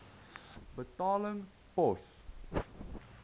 betaling pos